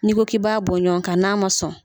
N' ko ki b'a bɔɲɔgɔn kan n'a ma sɔn.